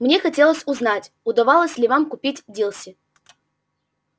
мне хотелось узнать удавалось ли вам купить дилси